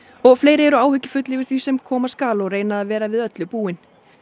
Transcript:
og fleiri eru áhyggjufull yfir því sem koma skal og reyna að vera við öllu búin